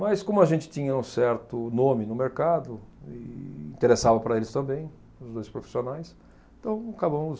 Mas como a gente tinha um certo nome no mercado, e interessava para eles também, os dois profissionais, então acabamos